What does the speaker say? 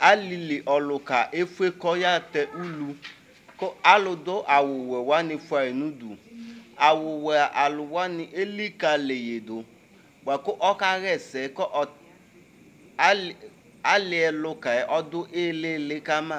aliliɔlʊka efue kɔyatɛ ʊlʊ ku aludu awuwɛwanɩ fuayi nu du awuwuɛalʊwanɩ elikalɩyidu , buakʊ ɔkayɛsɛ aliɔlukɛ ɔdu ɩli ɩli kama